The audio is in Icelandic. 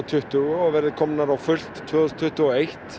tuttugu og komin á fullt tvö þúsund tuttugu og eitt